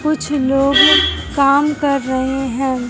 कुछ लोग काम कर रहे हैं।